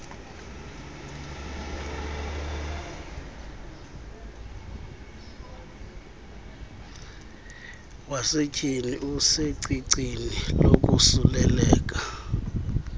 wasetyhini usecicini lokosuleleka